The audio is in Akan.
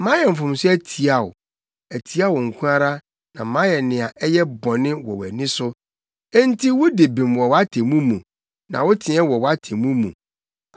Mayɛ mfomso atia wo; atia wo nko ara na mayɛ nea ɛyɛ bɔne wɔ wʼani so, enti wudi bem wɔ wʼatemmu mu na woteɛ wɔ wʼatemmu mu.